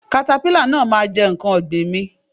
katapila náà ma jẹ nkán ọ̀gbìn mi.